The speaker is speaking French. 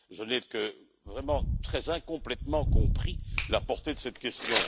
Je n'ai que vraiment très incomplètement compris la portée de cette question.